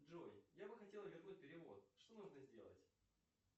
джой я бы хотел вернуть перевод что нужно сделать